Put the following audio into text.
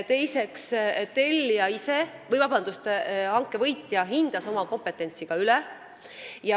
Teiseks, hanke võitja hindas ka oma kompetentsust üle.